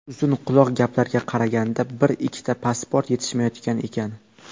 Uzun-quloq gaplarga qaraganda, bir-ikkita pasport yetishmayotgan ekan.